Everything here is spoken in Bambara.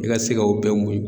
I ka se ka o bɛɛ muɲu